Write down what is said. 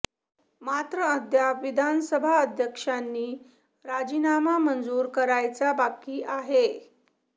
मात्र अद्याप विधानसभा अध्यक्षांनी राजीनामा मंजुर करायचा बाकी आहे